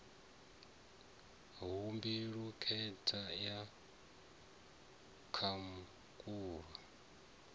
ha mbilu khentsa ya khamukulo